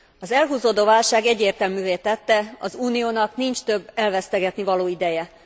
Az elhúzódó válság egyértelművé tette, az Uniónak nincs több elvesztegetnivaló ideje.